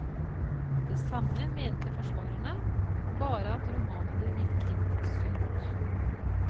Det samme mente forsvarerne, bare at romanene virket sunt.